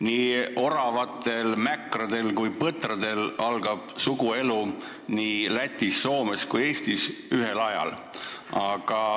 Nii oravatel, mäkradel kui põtradel algab suguelu Lätis, Soomes ja ka Eestis ühel ajal.